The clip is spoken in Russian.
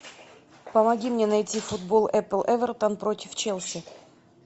помоги мне найти футбол апл эвертон против челси